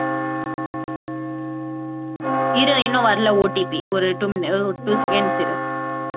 இரு இன்னும் வரலை OTP ஒரு two mini~ ஒரு two seconds இரு